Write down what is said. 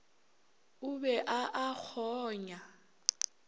o be a a kgonya